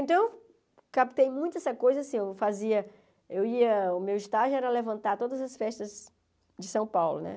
Então, captei muito essa coisa, assim, eu fazia, eu ia, o meu estágio era levantar todas as festas de São Paulo, né?